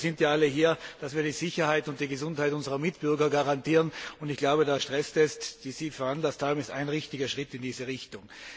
Aber wir sind ja alle hier, damit wir die Sicherheit und die Gesundheit unserer Mitbürger garantieren. Und ich glaube, der Stresstest, den Sie veranlasst haben, ist ein wichtiger Schritt in diese Richtung.